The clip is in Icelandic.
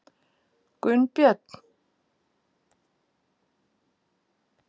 Gunnbjörn